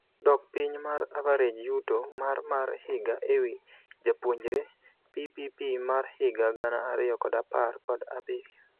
Dok piny mar average yuto mar mar higa ewii japuonjre (PPP mar higa gana ariyo kod apar kod abirio)